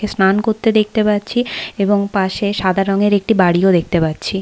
স্নান করতে দেখতে পাচ্ছি এবং পাশে সাদা রঙের একটি বাড়িও দেখতে পাচ্ছি।